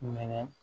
Minɛ